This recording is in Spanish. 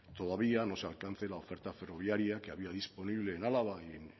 todavía no se alcance la oferta ferroviaria que había disponible en álava y